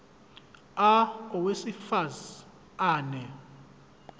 a owesifaz ane